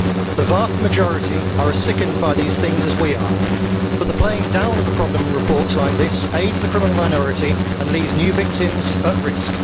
The vast majority are as sickened by these things as we are, but the playing down of the problem in reports like this aids the criminal minority and leaves new victims at risk.